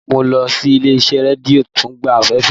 Mo lọ sí ilé-iṣẹ́ rédíó Tungba fm